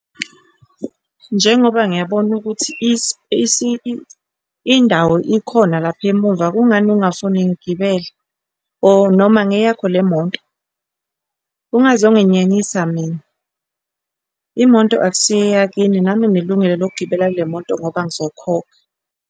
Njengoba ngiyabona ukuthi indawo ikhona lapha emuva, kungani ungafuni ngigibele? Or noma ngeyakho le moto? Ungazonginyanyisa mina, imoto akusiyo eyakini. Nami nginelungelo lokugibela kule moto ngoba ngizokhokha.